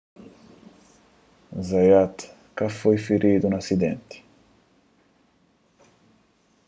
zayat ka foi firidu na asidenti